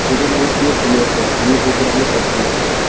cricket আমার খুব প্রিয় cricket আমি খুবই পছন্দ করি